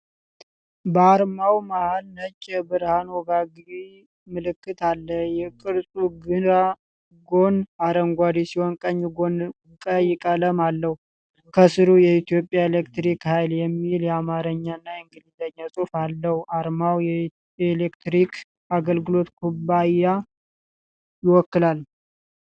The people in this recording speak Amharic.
በአርማው መሃል ነጭ የብርሃን ወጋጊ ምልክት አለ። የቅርጹ ግራ ጎን አረንጓዴ ሲሆን ቀኝ ጎን ቀይ ቀለም አለው። ከሥሩ “የኢትዮጵያ ኤሌክትሪክ ኃይል” የሚል የአማርኛና የኢንግሊዝኛ ጽሁፍ አለው። አርማው የኤሌክትሪክ አገልግሎት ኩባንያን ይወክላል።